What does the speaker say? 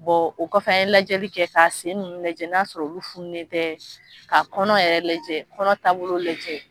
o kɔfɛ an ye lajɛli kɛ ka sen nunnu lajɛ n'a sɔrɔ olu fununen tɛ, ka kɔnɔ yɛrɛ lajɛ kɔnɔ taabolo lajɛ.